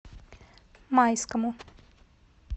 майскому